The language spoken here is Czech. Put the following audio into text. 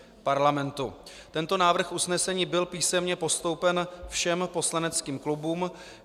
Tento návrh usnesení byl písemně postoupen všem poslaneckým klubům.